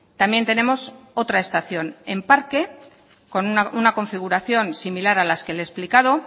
también tenemos otra estación en parque con una configuración similar a las que le he explicado